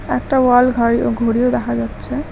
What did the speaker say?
একটা ওয়াল ঘাড়ি ঘড়িও দেখা যাচ্ছে।